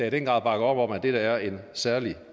i den grad bakker op om at dette er en særlig